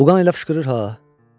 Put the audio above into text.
Buğay ilə fışqırır ha.